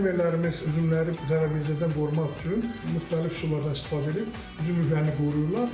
Bu fermerlərimiz üzümləri zərərvericilərdən qorumaq üçün müxtəlif üsullardan istifadə edib üzümlüklərini qoruyurlar.